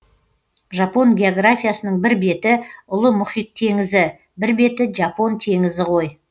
жапон географиясының бір беті ұлы мұхит теңізі бір беті жапон теңізі ғой